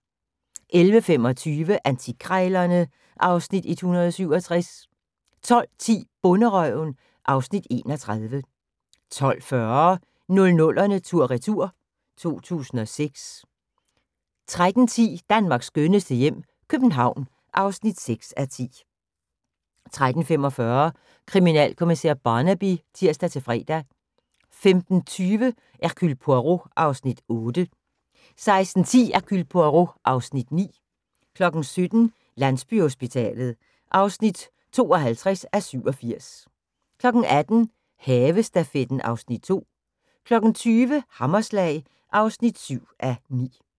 11:25: Antikkrejlerne (Afs. 167) 12:10: Bonderøven (Afs. 31) 12:40: 00'erne tur/retur: 2006 13:10: Danmarks skønneste hjem - København (6:10) 13:45: Kriminalkommissær Barnaby (tir-fre) 15:20: Hercule Poirot (Afs. 8) 16:10: Hercule Poirot (Afs. 9) 17:00: Landsbyhospitalet (52:87) 18:00: Havestafetten (Afs. 2) 20:00: Hammerslag (7:9)